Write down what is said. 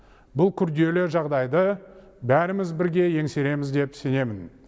бұл күрделі жағдайды бәріміз бірге еңсереміз деп сенемін